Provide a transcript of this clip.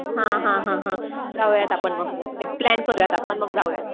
हा हा हा हा जाऊया आता आपण मग एक प्लॅन करूया आता आपण मग जाऊया.